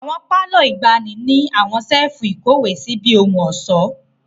Awọn palọ igbani ni áwọn sefu-ikowesi bi ohun-ọṣọ.